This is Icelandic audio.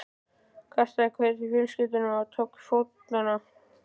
Kastaði kveðju á fjölskylduna og tók til fótanna.